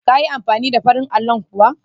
Ka yi amfani da farin allo kuwa?